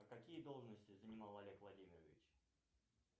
а какие должности занимал олег владимирович